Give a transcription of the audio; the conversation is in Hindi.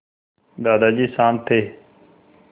दादाजी शान्त थे